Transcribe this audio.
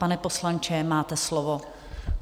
Pane poslanče, máte slovo.